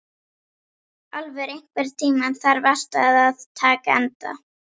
Álfur, einhvern tímann þarf allt að taka enda.